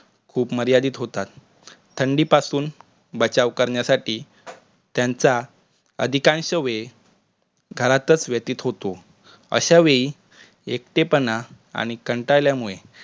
खुप मर्यादित होतात. थंडीपासुन बचाव करण्यासाठी त्याचा अधिक समवेत घरातच व्यतीत होतो. अशा वेळी एकटेपणा आणि कंटाळल्यामुळे